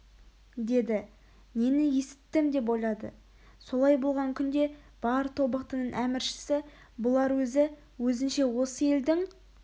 деді нені есіттім деп ойлады солай болған күнде бар тобықтының әміршісі бұлар өзі өзінше осы елдің